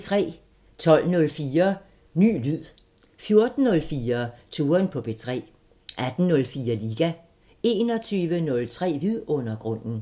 12:04: Ny lyd 14:04: Touren på P3 18:04: Liga 21:03: Vidundergrunden